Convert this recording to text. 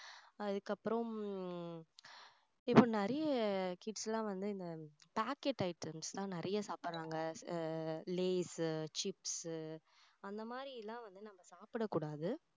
அதுக்கப்புறம் உம் இப்போ நிறைய kids எல்லாம் வந்து இந்த packed items எல்லாம் நிறைய சாப்பிடுறாங்க லேஸ் chips அந்த மாதிரி எல்லாம் வந்து நம்ம சாப்பிடக்கூடாது